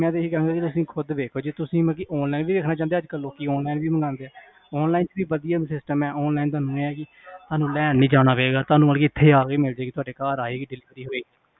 ਮੈਂ ਤਾ ਇਹ ਕਹਾਂਗਾ ਹੁਣ ਤੁਸੀ ਖੁਦ ਦੇਖੋ ਜੀ ਤੁਸੀ ਮਤਲਬ online ਵੀ ਦੇਖਣਾ ਚਾਓਂਦੇ ਅਜਕਲ ਲੋਕੀ online ਵੀ ਮੰਗਾ ਦੇ online ਚ ਵੀ ਵਧਿਆ system ਹੈ online ਚ ਤੁਹਾਨੂੰ ਲੈਣ ਨੀ ਜਾਣਾ ਪਏਗਾ ਤੁਹਾਡੇ ਇਥੇ ਮਤਲਬ ਆਪ ਈ ਮਿਲਜੇਗਾ ਤੁਹਾਡੇ ਘਰ ਆਏਗਾ